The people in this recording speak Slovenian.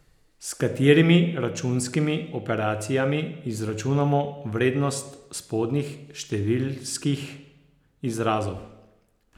S katerimi računskimi operacijami izračunamo vrednost spodnjih številskih izrazov?